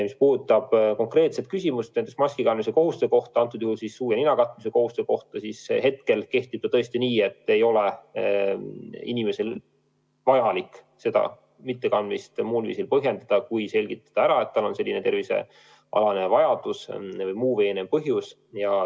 Mis puudutab konkreetset küsimust maski kandmise kohustuse kohta, antud juhul siis nina katmise kohustuse kohta, siis praegu on tõesti nii, et ei ole inimesel vaja seda mittekandmist muul viisil põhjendada, kui selgitada ära, et tal on konkreetne tervisest tulenev või muu veenev põhjus.